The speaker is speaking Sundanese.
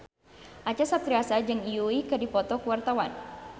Acha Septriasa jeung Yui keur dipoto ku wartawan